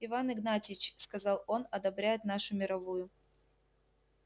иван игнатьич сказал он одобряет нашу мировую